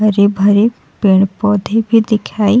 हरे भरे पेड़ पौधे भी दिखाई --